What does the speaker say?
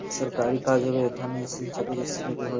সরকারি কাজ হবে এখানে ।